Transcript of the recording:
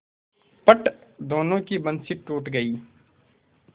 फट दोनों की बंसीे टूट गयीं